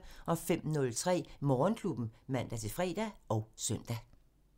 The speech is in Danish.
05:03: Morgenklubben (man-fre og søn)